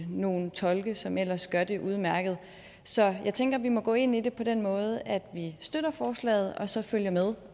nogle tolke som ellers gør det udmærket så jeg tænker vi må gå ind i det på den måde at vi støtter forslaget og så følger med